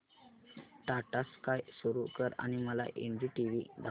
Tata sky सुरू कर आणि मला एनडीटीव्ही दाखव